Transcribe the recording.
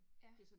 Ja